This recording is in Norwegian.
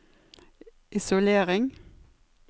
isolering